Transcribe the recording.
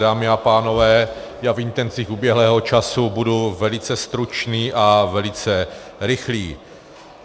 Dámy a pánové, já v intencích uběhlého času budu velice stručný a velice rychlý.